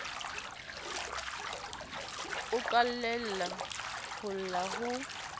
o qalella ho lla ho